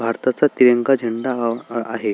भारताचा तिरंगा झेंडा हा आहे.